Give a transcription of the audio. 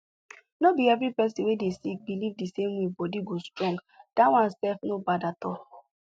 nor be every person wey dey sick believe the same way body go strong that one self not bad at all